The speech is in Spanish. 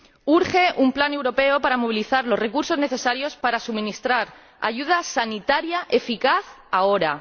Urge un plan europeo para movilizar los recursos necesarios para suministrar ayuda sanitaria eficaz ahora.